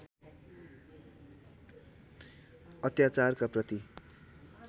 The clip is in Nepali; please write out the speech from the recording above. अत्याचारका प्रति